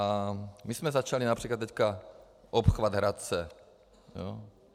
A my jsme začali například teď obchvat Hradce.